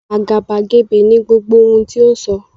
Àgàbàgebè ni gbogbo ohun tí o sọ.